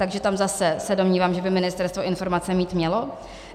Takže tam zase se domnívám, že by ministerstvo informace mít mělo.